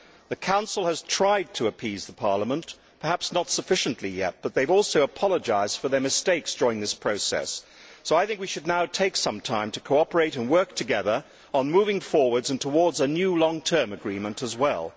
The Council has tried to appease Parliament, perhaps not sufficiently yet, but they have also apologised for their mistakes during this process. So I think we should now take some time to cooperate and work together on moving forwards and towards a new long term agreement as well.